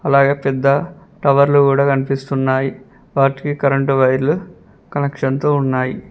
అలాగే పెద్ద టవర్లు గుడా కనిపిస్తున్నాయి వాటికి కరెంటు వైర్లు కనెక్షన్తో ఉన్నాయి.